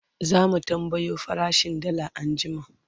zamu tambayo farashin dalla anjima